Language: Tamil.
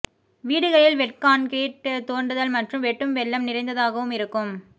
வீடுகளில் வெட் கான்கிரீட் தோண்டுதல் மற்றும் வெட்டும் வெள்ளம் நிறைந்ததாகவும் இருக்கும்